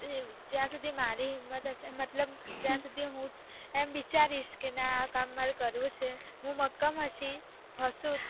જ્યાં સુઘી મારી હિમ્મત હશે ને મતલબ જ્યાં સુધી હું જ એમ વિચારીશ કે ના આ કામ મારે કરવું છે હું મક્કમ હશી, હશું